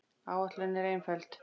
Áætlunin er einföld.